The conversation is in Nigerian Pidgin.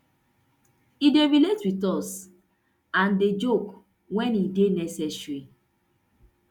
e dey relate wit us and dey joke wen e dey necessary